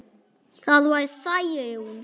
Það var Særún.